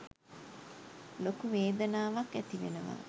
ලොකු වේදනාවක් ඇතිවෙනවා